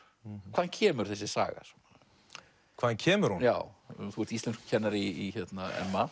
hvaðan kemur þessi saga hvaðan kemur hún já þú ert íslenskukennari í